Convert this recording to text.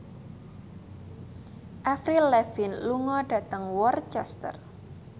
Avril Lavigne lunga dhateng Worcester